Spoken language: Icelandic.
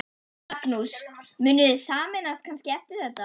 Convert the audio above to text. Magnús: Munuð þið sameinast kannski eftir þetta?